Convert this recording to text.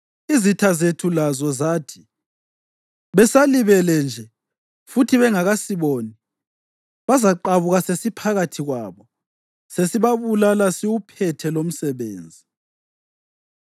Izitha zethu lazo zathi, “Besalibele nje futhi bengakasiboni, bazaqabuka sesiphakathi kwabo sesibabulala siwuphethe lumsebenzi.”